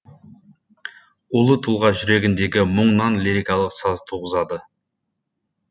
ұлы тұлға жүрегіндегі мұңнан лирикалық саз туғызады